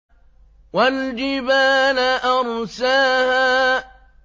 وَالْجِبَالَ أَرْسَاهَا